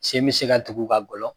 Sen bɛ se ka tugu k'a gɔlɔ